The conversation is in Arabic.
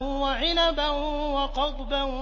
وَعِنَبًا وَقَضْبًا